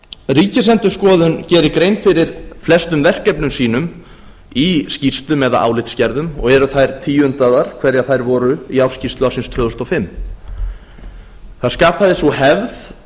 ríkisendurskoðun gerir grein fyrir flestum verkefnum sínum í skýrslum eða álitsgerðum og eru þær tíundaðar hverjar þær voru í ársskýrslu ársins tvö þúsund og fimm það skapaðist sú hefð